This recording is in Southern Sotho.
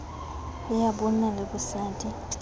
le ya bonna le bosadi